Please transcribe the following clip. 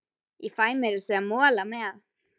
Ég fæ meira að segja mola með.